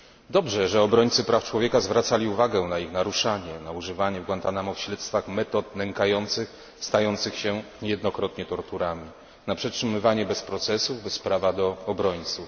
Dobrze, że obrońcy praw człowieka zwracali uwagę na naruszanie tych praw, na używanie w Guantanamo w śledztwach metod nękających, stających się niejednokrotnie torturami, na przetrzymywanie bez procesów, bez prawa do obrońców.